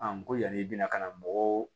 n ko yan'i bɛna ka na mɔgɔw